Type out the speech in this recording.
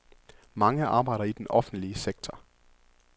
Mange arbejder i den offentlige sektor.